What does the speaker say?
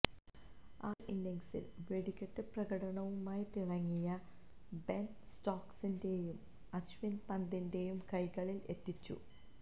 ആദ്യ ഇന്നിങ്സിൽ വെടിക്കെട്ട് പ്രകടനവുമായി തിളങ്ങിയ ബെൻ സ്റ്റോക്സിനെയും അശ്വിൻ പന്തിന്റെ കൈകളിൽ എത്തിച്ചു